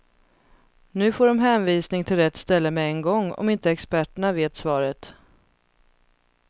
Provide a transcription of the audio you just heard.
Nu får de hänvisning till rätt ställe med en gång om inte experterna vet svaret.